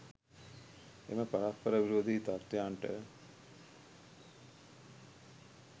එම පරස්පර විරෝධී තත්වයන්ට